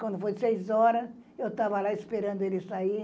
Quando foi seis horas, eu estava lá esperando ele sair.